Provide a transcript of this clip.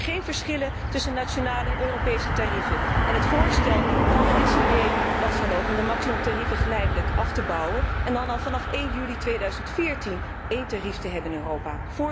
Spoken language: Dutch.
Dus geen verschillen tussen nationale en Europese tarieven, en het voorstel van de SD was dan ook om de maximumtarieven geleidelijk af te bouwen en dan al vanaf 1 juli 2014 één tarief te hebben in Europa.